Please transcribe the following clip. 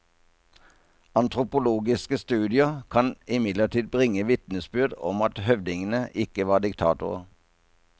Antropologiske studier kan imidlertid bringe vitnesbyrd om at høvdingene ikke var diktatorer.